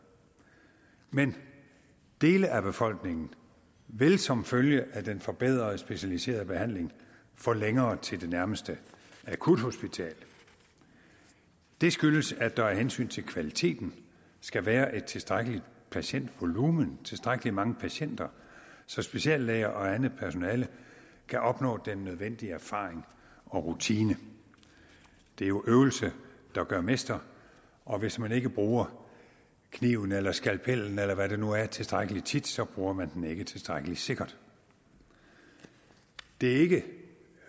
men dele af befolkningen vil som følge af den forbedrede specialiserede behandling få længere til det nærmeste akuthospital det skyldes at der af hensyn til kvaliteten skal være et tilstrækkeligt patientvolumen tilstrækkelig mange patienter så speciallæger og andet personale kan opnå den nødvendige erfaring og rutine det er jo øvelse der gør mester og hvis man ikke bruger kniven eller skalpellen eller hvad det nu er tilstrækkelig tit så bruger man den ikke tilstrækkelig sikkert det er ikke